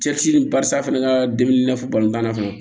Cɛsiri barisa fana n ka dumuni i n'a fɔ tanna fana